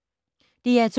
DR2